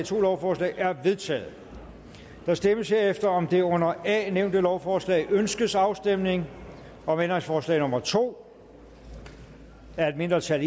to lovforslag er vedtaget der stemmes herefter om det under a nævnte lovforslag ønskes afstemning om ændringsforslag nummer to af et mindretal